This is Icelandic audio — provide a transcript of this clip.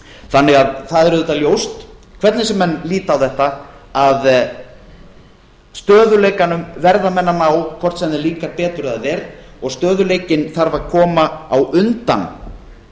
þannig að það er auðvitað ljóst hvernig sem menn líta á þetta að stöðugleikanum verða menn að ná hvort sem þeim líkar betur eða ver og stöðugleikinn þarf að koma á undan